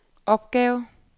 opgave